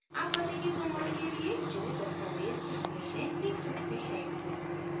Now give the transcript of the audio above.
आप पते के प्रमाणपत्र के लिए जो दस्तावेज़ चाहते हैं लिख सकते हैं